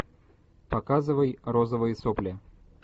показывай розовые сопли